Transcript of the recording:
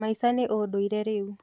Maica nĩ undũire rĩu.